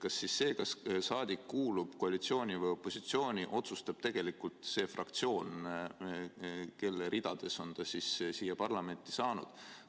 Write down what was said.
Kas siis selle, kas saadik kuulub koalitsiooni või opositsiooni, otsustab tegelikult see fraktsioon, kelle ridades on ta siia parlamenti saanud?